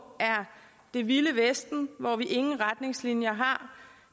er det vilde vesten hvor vi ingen retningslinjer har